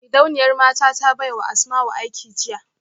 Gidauniyar mata ta baiwa Asmau aiki jiya